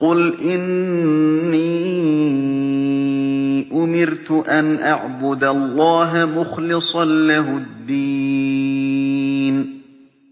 قُلْ إِنِّي أُمِرْتُ أَنْ أَعْبُدَ اللَّهَ مُخْلِصًا لَّهُ الدِّينَ